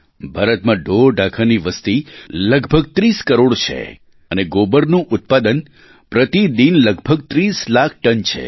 ભારતમાં ઢોરઢાંખરની વસ્તી લગભગ 30 કરોડ છે અને ગોબરનું ઉત્પાદન પ્રતિ દિન લગભગ 30 લાખ ટન છે